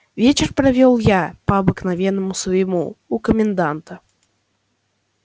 вечер провёл я по обыкновению своему у коменданта